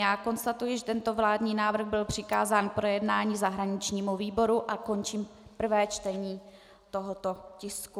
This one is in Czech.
Já konstatuji, že tento vládní návrh byl přikázán k projednání zahraničnímu výboru a končím prvé čtení tohoto tisku.